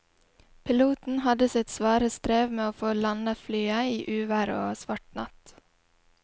Piloten hadde sitt svare strev med å få landet flyet i uvær og svart natt.